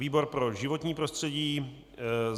Výbor pro životní prostředí.